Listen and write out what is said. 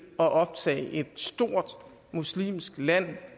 at optage et stort muslimsk land